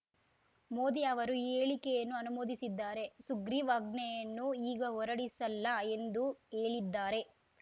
ಮೋದಿ ಅವರು ಈ ಹೇಳಿಕೆಯನ್ನು ಅನುಮೋದಿಸಿದ್ದಾರೆ ಸುಗ್ರೀವಾಜ್ಞೆಯನ್ನು ಈಗ ಹೊರಡಿಸಲ್ಲ ಎಂದು ಹೇಳಿದ್ದಾರೆ